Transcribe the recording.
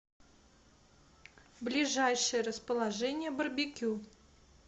ближайшее расположение барбекю